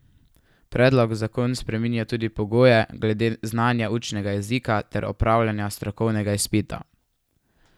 Predlog zakon spreminja tudi pogoje glede znanja učnega jezika ter opravljanja strokovnega izpita.